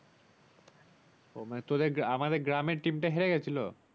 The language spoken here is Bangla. ও মানে তোদের মানে আমাদের গ্রামের team তা হেরে গেছিলো?